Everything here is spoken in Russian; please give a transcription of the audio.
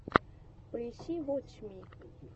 поищи вотч ми